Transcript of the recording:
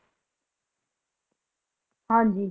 ਹਾਂਜੀ